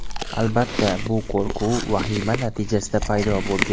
Albatta, bu qo‘rquv, vahima natijasida paydo bo‘lgan.